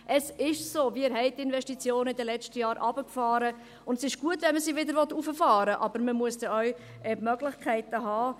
Es ist so, wir haben die Investitionen in den letzten Jahren heruntergefahren, und es ist gut, wenn man sie wieder hochfahren will, aber man muss dann auch die Möglichkeiten haben.